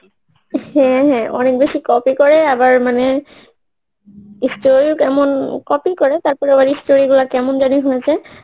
হ্যাঁ ঁ হ্যাঁ ঁ অনেক বেশি copy করে আবার মানে story ও কেমন copy করে তারপরে আবার এই story গুলা কেমন জানি হয়েছে